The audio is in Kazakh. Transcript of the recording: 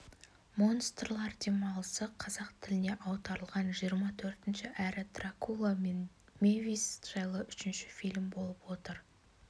монстрлар демалысы қазақ тіліне аударылған жиырма төртінші әрі дракула мен мэвис жайлы үшінші фильм болып отыр